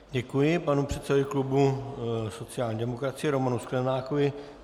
Děkuji panu předsedovi klubu sociální demokracie Romanu Sklenákovi.